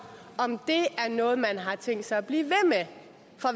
om det er noget man har tænkt sig at blive